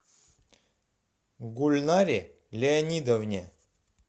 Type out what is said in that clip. гульнаре леонидовне